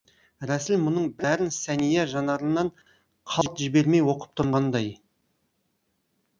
рәсіл мұның бәрін сәния жанарынан қалт жібермей оқып тұрғандай